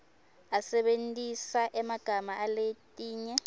asebentisa emagama aletinye